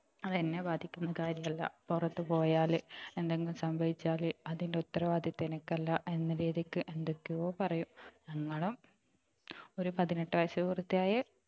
അത് എന്നെ ബാധിക്കുന്ന കാര്യല്ല പുറത്തു പോയാല് എന്തെങ്കിലും സംഭവിച്ചാൽ അതിൻ്റെ ഉത്തരവാദിത്വം എനിക്കല്ല എന്ന രീതിക്ക് എന്തൊക്കയോ പറയും ഞങ്ങളും ഒരു പതിനെട്ടു വയസുപൂർത്തിയായ